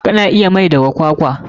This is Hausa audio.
Kana iya yin mai daga kwakwa.